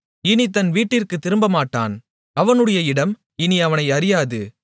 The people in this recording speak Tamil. இனி தன் வீட்டிற்குத் திரும்பமாட்டான் அவனுடைய இடம் இனி அவனை அறியாது